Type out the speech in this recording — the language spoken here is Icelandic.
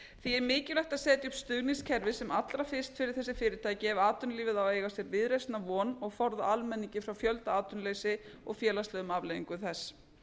því er mikilvægt að setja upp stuðningskerfi sem allra fyrst fyrir þessi fyrirtæki ef atvinnulífið á að eiga sér viðreisnar von og forða almenningi frá fjöldaatvinnuleysi og félagslegum afleiðingum þess